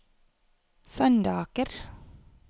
Sandaker